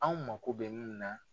Aw mako bɛ min na